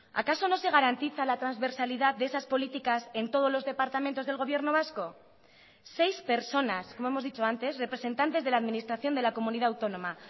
acaso no se garantiza la transversalidad de esas políticas en todos los departamentos del gobierno vasco seis personas como hemos dicho antes representantes de la administración de la comunidad autónoma